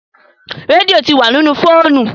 Rédíò tí wá nínú fóònù.